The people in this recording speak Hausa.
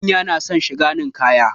Manya na son shiga ninkaya